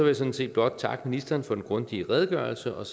jeg sådan set godt takke ministeren for den grundige redegørelse og